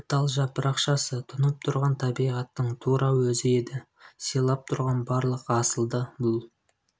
бір тал жапырақшасы тұнып тұрған табиғаттың тура өзі еді сыйлап тұрған барлық асылды бұл